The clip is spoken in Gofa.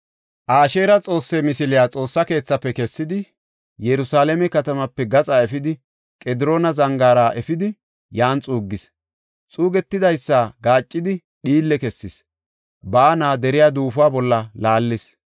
Asheera xoosse misiliya Xoossa keethafe kessidi, Yerusalaame katamaape gaxa efidi, Qediroona Zangaara efidi, yan xuuggis. Xuugetidaysi gaaccidi, dhiille kessis; baana deriya duufo bolla laallis.